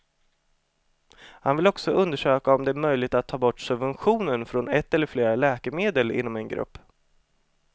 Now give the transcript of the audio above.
Han vill också undersöka om det är möjligt att ta bort subventionen från ett eller flera läkemedel inom en grupp.